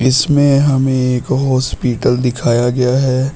इसमें हमें एक हॉस्पिटल दिखाया गया है।